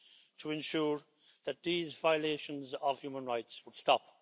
to ensure that these violations of human rights will stop.